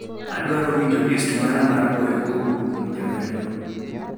Adwaro winjo list mara mar goyo kowuok kuom jawerno